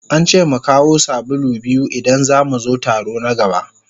An ce mu kawo sabulu biyu idan za mu zo taro na gaba.